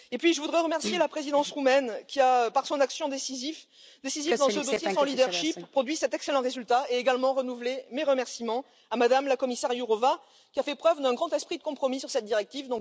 Et puis je voudrais remercier la présidence roumaine qui a, par son action décisive dans ce dossier, par son leadership, produit cet excellent résultat, et également renouveler mes remerciements à Mme la commissaire Jourová qui a fait preuve d'un grand esprit de compromis sur cette directive.